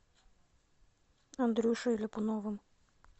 андрюшей ляпуновым